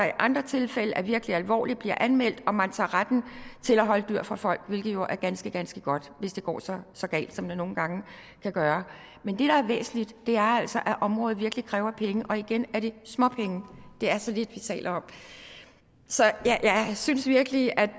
i andre tilfælde er virkelig alvorligt bliver anmeldt og man tager retten til at holde dyr fra folk hvilket jo er ganske ganske godt hvis det går så så galt som det nogle gange kan gøre men det der er væsentligt er altså at området virkelig kræver penge og igen er det småpenge det er så lidt vi taler om så jeg synes virkelig at